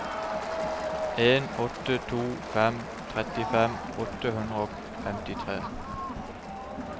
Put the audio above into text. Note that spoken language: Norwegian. en åtte to fem trettifem åtte hundre og femtitre